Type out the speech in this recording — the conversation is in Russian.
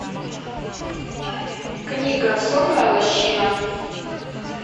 книга сонная лощина